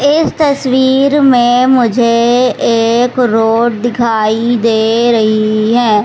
इस तस्वीर में मुझे एक रोड दिखाई दे रही है।